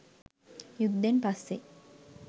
යුද්ධෙන් පස්සේ